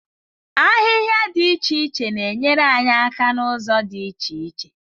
Ahịhịa dị iche iche na-enyere anyị aka n'ụzọ dị iche iche.